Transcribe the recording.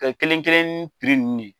Ka kelen- kelen nunnu ye.